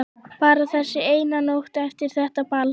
Bara þessi eina nótt eftir þetta ball.